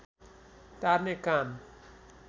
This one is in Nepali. टार्ने काम